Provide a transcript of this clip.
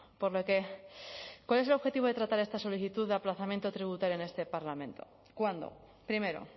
por lo que cuál es el objetivo de tratar esta solicitud de aplazamiento tributario en este parlamento cuando primero